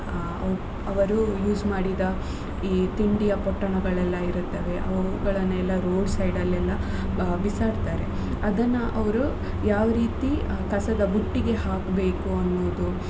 ಅ ಅವರು use ಮಾಡಿದ ಈ ತಿಂಡಿಯ ಪೊಟ್ಟಣಗಳೆಲ್ಲ ಇರುತ್ತವೆ ಅವುಗಳನ್ನೆಲ್ಲ road side ಅಲ್ಲೆಲ್ಲ ಬಿಸಾಡ್ತಾರೆ ಅದನ್ನ ಅವ್ರು ಯಾವ ರೀತಿ ಕಸದ ಬುಟ್ಟಿಗೆ ಹಾಕ್ಬೇಕು ಅನ್ನೋದು.